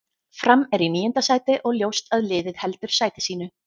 Fram er í níunda sæti og ljóst að liðið heldur sæti sínu.